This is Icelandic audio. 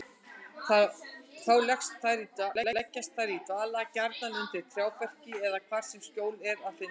Þá leggjast þær í dvala, gjarnan undir trjáberki eða hvar sem skjól er að finna.